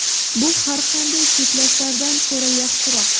Bu har qanday cheklashlardan ko‘ra yaxshiroq.